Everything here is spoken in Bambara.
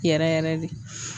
Yɛrɛ yɛrɛ de.